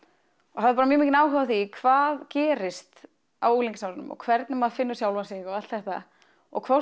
og hafði bara mjög mikinn áhuga á því hvað gerist á unglingsárunum og hvernig maður finnur sjálfan sig og allt þetta og hvort